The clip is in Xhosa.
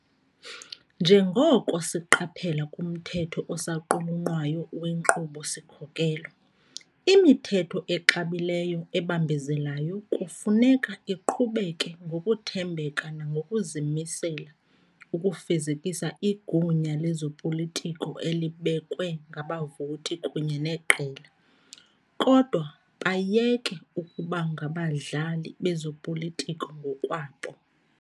Njengoko siqaphela kumthetho osaqulunqwayo wenkqubo-sikhokelo, "imithetho exabileyo ebambezelayo kufuneka iqhubeke ngokuthembeka nangokuzimisela ukufezekisa igunya lezopolitiko elibekwe ngabavoti kunye neqela, kodwa bayeke ukuba ngabadlali bezopolitiko ngokwabo."